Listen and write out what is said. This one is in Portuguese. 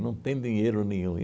Não tem dinheiro nenhum.